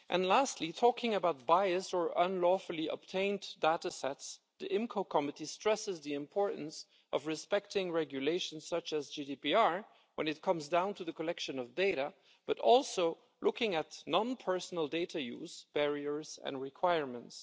Lastly, talking about biased or unlawfully obtained data sets, the IMCO Committee stresses the importance of respecting regulations such as GDPR when it comes to the collection of data, but also looking at non personal data use, barriers and requirements.